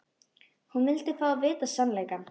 Hún vildi fá að vita sannleikann.